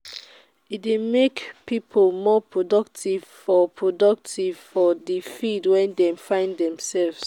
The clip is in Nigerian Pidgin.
e de make pipo more productive for the productive for the field wey dem find themselves